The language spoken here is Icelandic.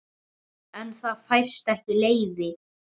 En það fæst ekki leyfi.